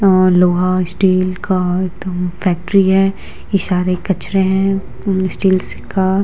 अ लोहा स्टील का एकदम फैक्ट्री है इ सारे कचरे हैं उम्म स्टीलस का।